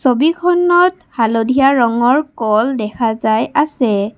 ছবিখনত হালধীয়া ৰঙৰ কল দেখা যায় আছে।